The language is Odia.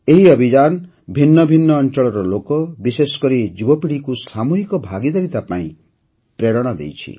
ଏହି ଅଭିଯାନ ଭିନ୍ନ ଭିନ୍ନ ଅଞ୍ଚଳର ଲୋକ ବିଶେଷକରି ଯୁବପିଢ଼ିକୁ ସାମୂହିକ ଭାଗୀଦାରିତା ପାଇଁ ପ୍ରେରଣା ଦେଇଛି